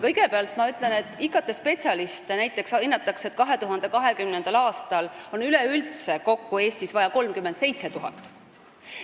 Kõigepealt ütlen, et näiteks hinnatakse, et 2020. aastal on Eestis üleüldse kokku vaja 37 000 IT-spetsialisti.